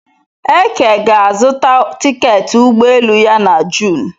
Eke ga-azuta tiketị ụgbọelu ya na Jun